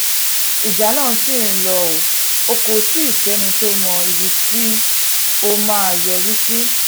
ìjà náà ṣì ń lò ó kò tì í sẹ́ni tó mọ ibi tó máa yọrí sí